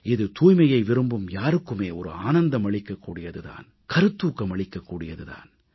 இது தூய்மையை விரும்பும் யாருக்குமே ஒரு ஆனந்தம் அளிக்கக் கூடியது தான் கருத்தூக்கம் அளிக்கக் கூடியது தான்